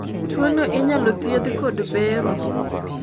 tuono inyalo thiedh kod bero